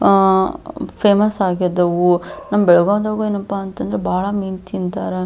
ಆ ಫೇಮಸ್ ಆಗಿದಾವು ನಮ್ಮ್ ಬೆಳಗಾಂ ದಾಗೆ ಏನಪ್ಪ ಅಂತಂದ್ರೆ ಬಹಳ ಮೀನು ತಿಂತಾರೆ.